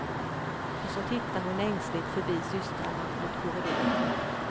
Och så tittar hon ängsligt förbi systrarna mot korridoren.